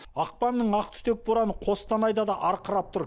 ақпанның ақтүтек бораны қостанайда да арқырап тұр